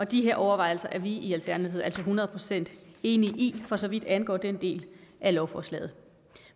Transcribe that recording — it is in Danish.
de her overvejelser er i alternativet hundrede procent enige i for så vidt angår den del af lovforslaget